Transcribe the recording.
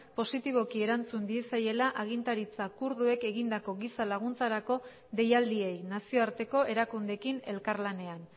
positiboki erantzun diezaiela agintaritza kurduek egindako giza laguntzarako deialdiei nazioarteko erakundeekin elkarlanean